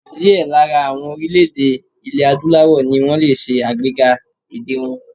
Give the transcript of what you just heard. Díẹ̀ lára àwọn orílè-èdè ilè Adúláwọ̀ ni wọ́n lè ṣe àgbéga èdè wọn.